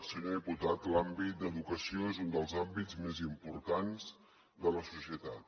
senyor diputat l’àmbit d’educació és un dels àmbits més importants de la societat